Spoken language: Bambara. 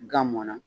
Gan mɔnna